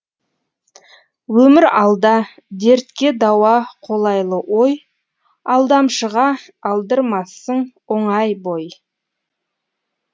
өмір алда дертке дауа қолайлы ой алдамшыға алдырмассың оңай бой